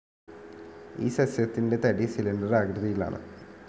ഈ സസ്സ്യത്തിൻ്റെ തടി സിലിണ്ടർ ആകൃതിയിലാണ്.